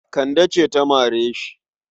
Kande ce ta mare shi.